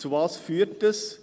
Wozu führt das?